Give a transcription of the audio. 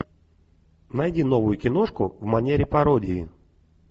найди новую киношку в манере пародии